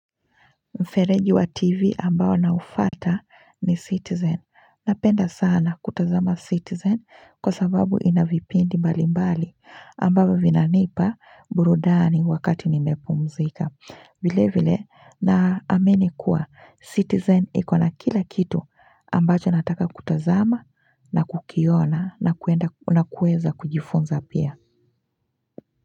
Mfereji wa tv ambao na ufata ni citizen, napenda sana kutazama citizen kwa sababu ina vipindi mbalimbali ambavo vinanipa burudani wakati nimepumzika vile vile na ameni kuwa citizen ikona kila kitu ambacho nataka kutazama na kukiona na kuenda na kueza kujifunza pia.